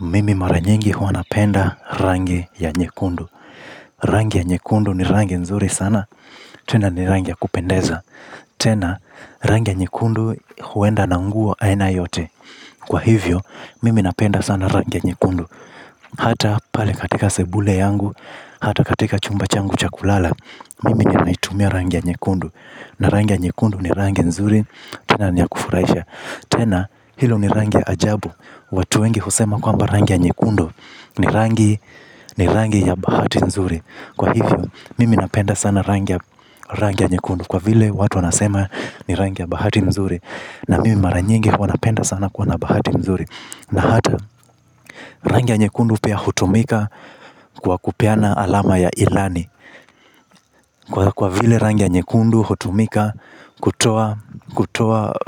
Mimi mara nyingi huwa napenda rangi ya nyekundu. Rangi ya nyekundu ni rangi nzuri sana, tena ni rangi ya kupendeza. Tena, rangi ya nyekundu huenda na nguo aina yote. Kwa hivyo, mimi napenda sana rangi ya nyekundu. Hata pale katika sebule yangu, hata katika chumba changu cha kulala, mimi ninaitumia rangi ya nyekundu. Na rangi ya nyekundu ni rangi nzuri, tena ni ya kufurahisha. Tena, hilo ni rangi ya ajabu. Watu wengi husema kwamba rangi ya nyekundu. Ni rangi ya bahati nzuri. Kwa hivyo, mimi napenda sana rangi ya nyekundu kwa vile watu wanasema ni rangi ya bahati nzuri, na mimi mara nyingi huwa napenda sana kuwa na bahati nzuri. Na hata rangi ya nyekundu pia hutumika kwa kupeana alama ya ilani. Kwa vile rangi ya nyekundu hutumika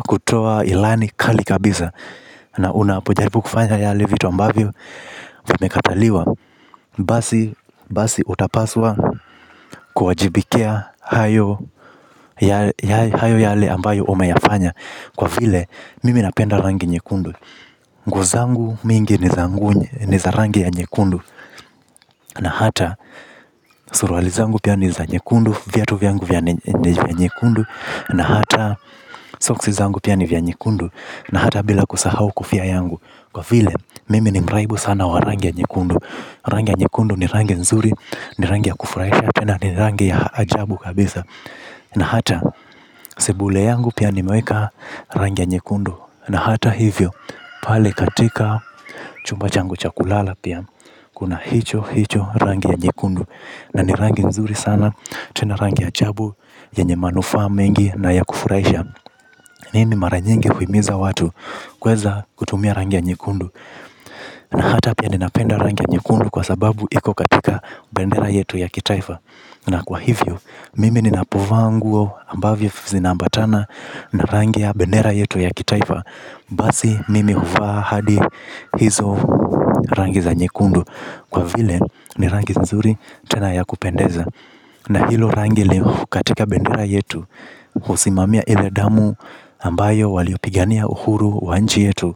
kutoa ilani kali kabisa na unapojaribu kufanya yale vitu ambavyo vimekataliwa, basi utapaswa kuwajibikia hayo yale ambayo umeyafanya, kwa vile mimi napenda rangi nyekundu nguo zangu mingi ni za rangi ya nyekundu. Na hata suruali zangu pia ni za nyekundu. Viatu vyangu vya nyekundu na hata soksi zangu pia ni vya nyekundu, na hata bila kusahau kofia yangu. Kwa vile mimi ni mraibu sana wa rangi ya nyekundu, rangi ya nyekundu ni rangi nzuri, ni rangi ya kufurahisha, tena ni rangi ya ajabu kabisa na hata sebule yangu pia nimeweka rangi ya nyekundu na hata hivyo, pale katika chumba changu cha kulala pia, kuna hicho hicho rangi ya nyekundu na ni rangi nzuri sana tena rangi ya ajabu yenye manufaa mengi na ya kufurahisha. Mimi mara nyingi huhimiza watu, kuweza kutumia rangi ya nyekundu. Na hata pia ninapenda rangi ya nyekundu kwasababu iko katika bendera yetu ya kitaifa. Na kwa hivyo, mimi ninapovaa nguo ambavyo zinaambatana na rangi ya bendera yetu ya kitaifa basi mimi huvaa hadi hizo rangi za nyekundu. Kwa vile ni rangi nzuri tena ya kupendeza. Na hilo rangi iliyo katika bendera yetu husimamia ile damu ambayo waliyopigania uhuru wa nchi yetu.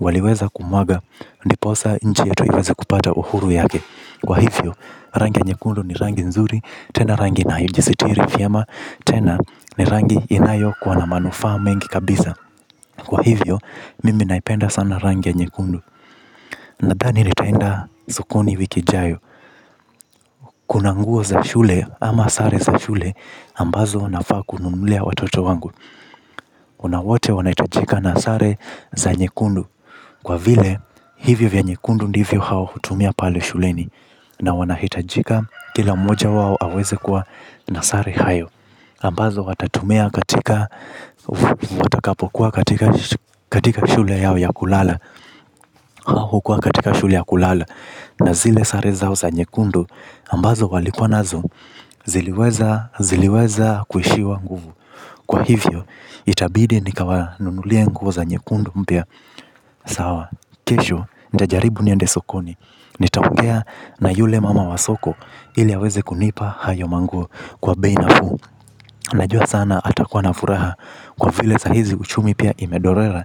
Waliweza kumwaga, ndipo sa nchi yetu iweze kupata uhuru yake. Kwa hivyo, rangi ya nyekundu ni rangi nzuri tena rangi inayojisitiri vyema, tena ni rangi inayokuwa na manufaa mengi kabisa. Kwa hivyo, mimi naipenda sana rangi ya nyekundu. Nadhani nitaenda sokoni wiki ijayo. Kuna nguo za shule ama sare za shule ambazo nafaa kununulia watoto wangu na wote wanahitajika na sare za nyekundu kwa vile hivyo vya nyekundu ndivyo hao hutumia pale shuleni na wanahitajika kila moja wao aweze kuwa na sare hayo ambazo watatumia katika shule yao ya kulala au hukuwa katika shule ya kulala. Na zile sare zao za nyekundu ambazo waliponazo ziliweza ziliweza kuishiwa nguvu. Kwa hivyo, itabidi nikawanunulie nguo za nyekundu mpya sawa. Kesho nitajaribu niende sokoni. Nitaupea na yule mama wa soko. Ili aweze kunipa hayo manguo kwa bei nafuu. Najua sana atakuwa na furaha. Kwa vile sahizi uchumi pia imedorora.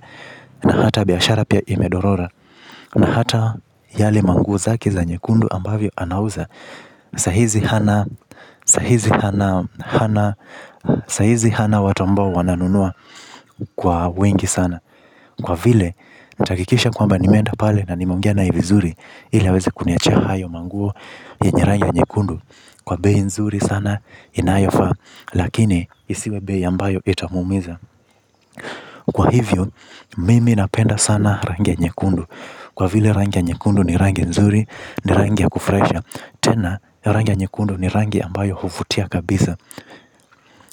Na hata biashara pia imedorora. Na hata yale manguo zake za nyekundu ambavyo anauza. Sahizi hana watu ambao wananunua kwa wengi sana. Kwa vile nitahakikisha kwamba nimeenda pale na nimeongea nae vizuri ili aweze kuniachia hayo manguo yenye rangi ya nyekundu kwa bei nzuri sana inayofaa. Lakini isiwe bei ambayo itamuumiza. Kwa hivyo mimi napenda sana rangi ya nyekundu. Kwa vile rangi ya nyekundu ni rangia nzuri ni rangi ya kufurahisha. Tena rangi ya nyekundu ni rangi ambayo huvutia kabisa.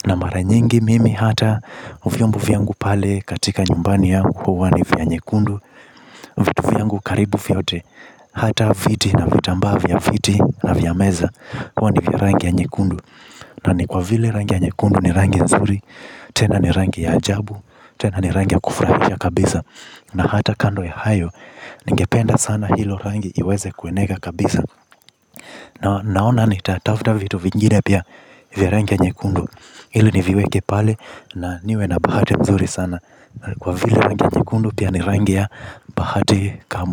Na mara nyingi mimi hata vyombo vyangu pale katika nyumbani yangu huwa ni vya nyekundu vitu vyangu karibu vyote hata viti na vitambaa vya viti na vya meza huwa ni vya yangi ya nyekundu na ni kwa vile rangi ya nyekundu ni rangi nzuri. Tena ni rangi ya ajabu, tena ni rangi ya kufurahisha kabisa. Na hata kando ya hayo ningependa sana hilo rangi iweze kueneka kabisa. Na naona nitatafuta vitu vingine pia vya rangi ya nyekundu ili niviweke pale na niwe na bahati nzuri sana. Kwa vile rangi ya nyekundu pia ni rangi ya bahati kama.